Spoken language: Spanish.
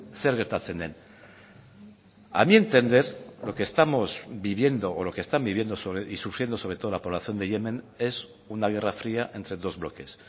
zer gertatzen den a mi entender lo que estamos viviendo o lo que están viviendo y sufriendo sobre todo la población de yemen es una guerra fría entre dos bloques